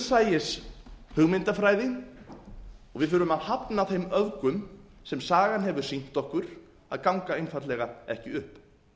það þarf raunsæishugmyndafræði og við þurfum að hafna þeim öfgum sem sagan hefur sýnt okkur að ganga einfaldlega ekki upp